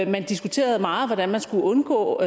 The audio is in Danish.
man diskuterede meget hvordan man skulle undgå